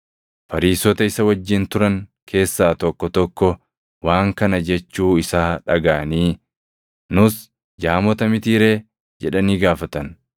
Fariisota isa wajjin turan keessaa tokko tokko waan kana jechuu isaa dhagaʼanii, “Nus jaamota mitii ree?” jedhanii gaafatan.